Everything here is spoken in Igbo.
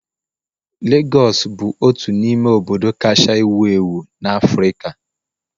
Legọs bụ otu n'ime obodo kacha ewu ewu na Africa.